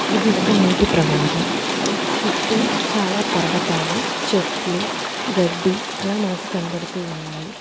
ఇది ఒక నీటి ప్రవాహం చుట్టూ చాలా పర్వతాలు చెట్లు గడ్డి అలా మనకు కనబడుతూ ఉన్నాయి.